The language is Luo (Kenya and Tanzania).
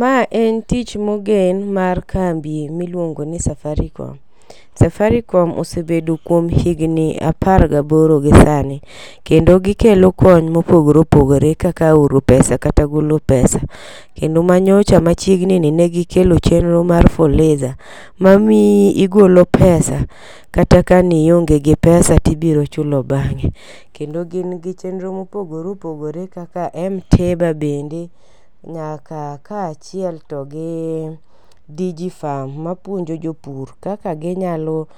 Ma en tich mogen mar kambi miluongo ni Safaricom. Safaricom osebedo kuom higni apar gaboro gisani. Kendo gikelo kony mopogore opogore kaka oro pesa kata golo pesa, kendo ma nyocha machiegni ni ne gikelo chenro mar fuliza. Mamiyo igolo pesa kata kane ionge gi pesa to ibiro chulo bang'e. Kendo gin gi chenro mopogore opogore kaka m -tiba bende nyaka kaachiel togi dijifam mapuonjo jopur kaka ginyalo